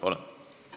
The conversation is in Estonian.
Palun!